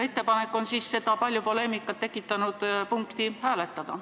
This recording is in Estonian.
Ettepanek on seda palju poleemikat tekitanud punkti siiski hääletada.